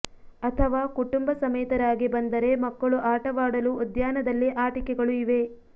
ಅಥವಾ ಕುಟುಂಬ ಸಮೇತರಾಗಿ ಬಂದರೆ ಮಕ್ಕಳು ಆಟ ವಾಡಲು ಉದ್ಯಾನದಲ್ಲಿ ಆಟಿಕೆಗಳು ಇವೆ